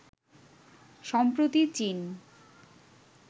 সম্প্রতি চীন